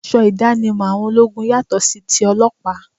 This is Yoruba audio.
Aṣọ ìdánimọ̀ àwọn ológun yàtọ sí tí ọlọ́pàá